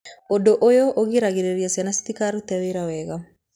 Ũndũ ũyũ ũgiragĩrĩria ciĩga citikarute wĩra wega.